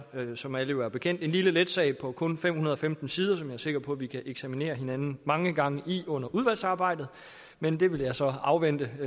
som alle jo er bekendt med en lille let sag på kun fem hundrede og femten sider som jeg er sikker på at vi kan eksaminere hinanden mange gange under udvalgsarbejdet men det vil jeg så afvente i